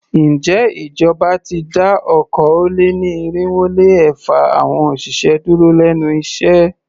Ǹjẹ́ ìjọba ti dá okòó-lé-ní-irínwó-lé-ẹ̀fa awọn òṣìṣẹ́ dúró lénu iṣẹ́?